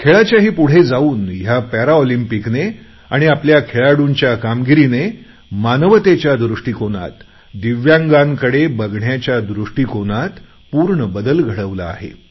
खेळाच्याही पुढे जाऊन ह्या पॅरालिम्पिक्सने आणि आपल्या खेळाडूंच्या कामगिरीने मानवतेच्या दृष्टीकोनात दिव्यागांकडे बघण्याच्या दृष्टीकोनात पूर्ण बदल घडवला आहे